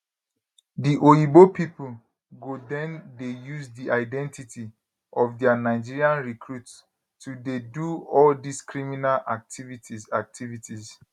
di oyibo pipo go den dey use di identity of dia nigerian recruits to dey do all dis criminal activities activities